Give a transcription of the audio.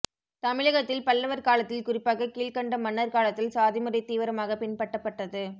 தமிழகத்தில் பல்லவர் காலத்தில் குறிப்பாக கீழ்க்கண்ட மன்னர் காலத்தில் சாதிமுறை தீவிரமாக பின்பட்டபட்டது